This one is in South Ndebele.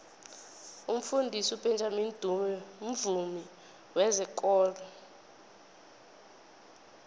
umfundisi ubenjamini dube mvumi wezekolo